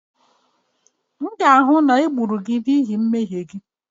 M ga-ahụ na e gburu gị n'ihi mmehie gị